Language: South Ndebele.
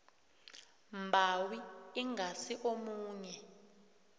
mbawi ingasi omunye